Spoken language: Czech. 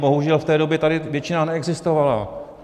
Bohužel v té době tady většina neexistovala.